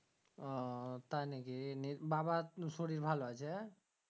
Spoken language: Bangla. ও তাই নাকি নিয়ে বাবার শরীর ভালো আছে